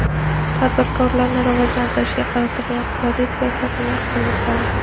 tadbirkorlikni rivojlantirishga qaratilgan iqtisodiy siyosatning yaqqol misoli.